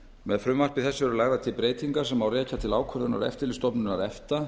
með frumvarpi þessu eru lagðar til breytingar sem má rekja til ákvörðunar eftirlitsstofnunar efta